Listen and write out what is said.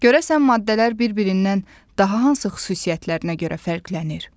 Görəsən maddələr bir-birindən daha hansı xüsusiyyətlərinə görə fərqlənir?